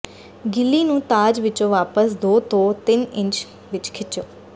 ਗਿੱਲੀ ਨੂੰ ਤਾਜ ਵਿਚੋਂ ਵਾਪਸ ਦੋ ਤੋਂ ਤਿੰਨ ਇੰਚ ਵਿਚ ਖਿੱਚੋ